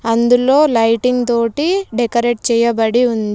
అందులో లైటింగ్ తోటి డెకరేట్ చేయబడి ఉంది.